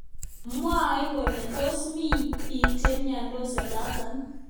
Mwaat kele tos mi bik chemnyandos olotok.